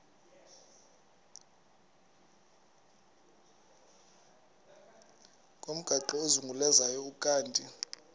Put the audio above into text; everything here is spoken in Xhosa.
ngomgaqo ozungulezayo ukanti